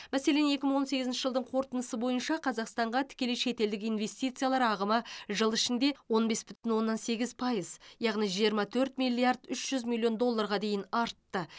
мәселен екі мың он сегізінші жылдың қорытындысы бойынша қазақстанға тікелей шетелдік инвестициялар ағымы жыл ішінде он бес бүтін оннан сегіз пайыз яғни жиырма төрт миллиард үш жүз миллион долларға дейін артты